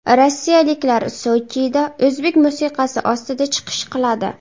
Rossiyaliklar Sochida o‘zbek musiqasi ostida chiqish qiladi.